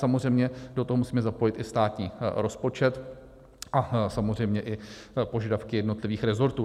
Samozřejmě do toho musíme zapojit i státní rozpočet a samozřejmě i požadavky jednotlivých resortů.